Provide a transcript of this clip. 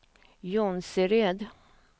Jonsered